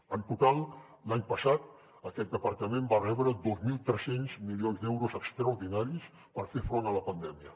en total l’any passat aquest departament va rebre dos mil tres cents milions d’euros extraordinaris per fer front a la pandèmia